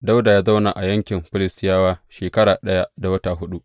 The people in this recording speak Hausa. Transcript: Dawuda ya zauna a yankin Filistiyawa shekara ɗaya da wata huɗu.